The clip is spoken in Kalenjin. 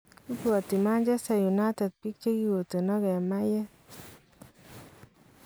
Ibwatii Manchester united biik chekikotenak en mayeet